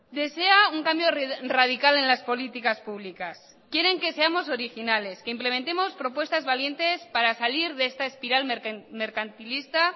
desea un cambio radical en las políticas públicas quieren que seamos originales que implementemos propuestas valientes para salir de esta espiral mercantilista